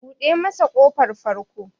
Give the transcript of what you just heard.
Buɗe masa ƙofar farko!